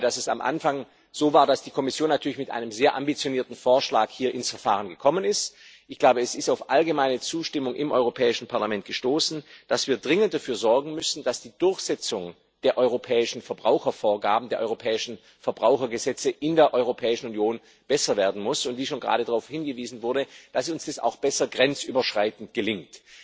Denn ich glaube, dass es am Anfang so war, dass die Kommission natürlich mit einem sehr ambitionierten Vorschlag hier ins Verfahren gekommen ist. Ich glaube, es ist auf allgemeine Zustimmung im Europäischen Parlament gestoßen, dass wir dringend dafür sorgen müssen, dass die Durchsetzung der europäischen Verbrauchervorgaben, der europäischen Verbrauchergesetze in der Europäischen Union besser werden muss, und worauf gerade schon hingewiesen wurde dass es uns auch besser grenzüberschreitend gelingt.